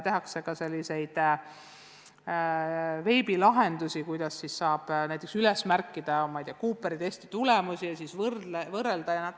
Tehtud on ka veebilahendusi, kuhu saab näiteks üles märkida Cooperi testi tulemusi ja neid võrrelda.